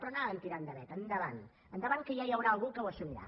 però anaven tirant de veta endavant endavant que ja hi haurà algú que ho assumirà